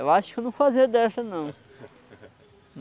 Eu acho que eu não fazia dessa, não.